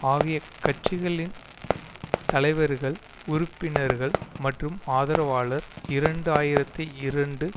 ஆகிய கட்சிகளின் தலைவர்கள் உறுப்பினர்கள் மற்றும் ஆதரவாளர் இரண்டு ஆயிரத்தி இரண்டு